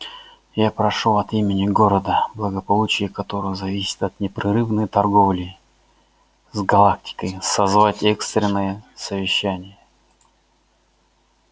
я прошу от имени города благополучие которого зависит от непрерывной торговли с галактикой созвать экстренное совещание